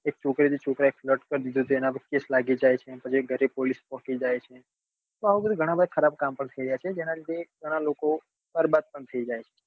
એક છોકરી ને એક છોકરા એ flirt કર દીઈધો તો એના પર case લાગી જાય પછી ઘરે police પોકી જાય છે. તો આવા ઘણાં બધા ખરાબ કામ થઇ રહ્યા છે એના લીધે ઘણાં લોકો બરબાદ થઇ રહ્યા છે